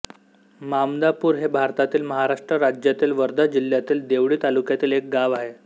मामदापूर हे भारतातील महाराष्ट्र राज्यातील वर्धा जिल्ह्यातील देवळी तालुक्यातील एक गाव आहे